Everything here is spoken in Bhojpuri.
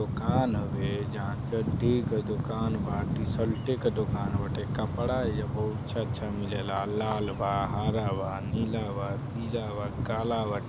दुकान हवे जहाँ चढ्ढी के दुकान बाल्टी- सल्टी के दुकान बाटे। कपड़ा इहा बहुत अच्छा अच्छा मिलेला लाल बा हरा बा नीला बा पीला बा काला बा।